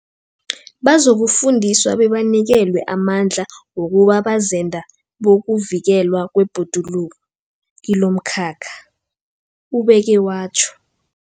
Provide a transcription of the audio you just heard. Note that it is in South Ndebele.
Bazokufundiswa bebanikelwe amandla wokuba bazenda bokuvikelwa kwebhoduluko kilomkhakha, ubeke watjho.